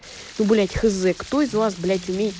ну блять хз кто из вас блядь умею